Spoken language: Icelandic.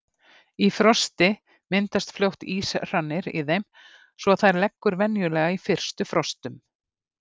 Í frosti myndast fljótt íshrannir í þeim svo að þær leggur venjulega í fyrstu frostum.